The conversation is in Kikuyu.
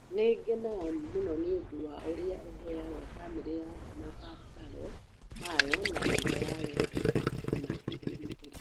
Nĩ ngenaga mũno nĩ ũndũ wa ũrĩa ũheaga famĩlĩ yaku mabataro mayo na njĩra ya wendo na kwĩrũtera